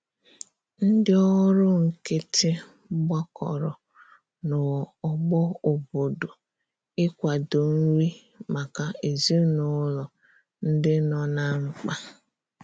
Ndi ọrụ nkiti gbakọrọ na ogbo obodo ị kwado nri maka ezinulo ndi nọ na mkpa